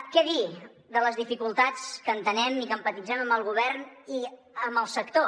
què dir de les dificultats que entenem i que empatitzem amb el govern i amb el sector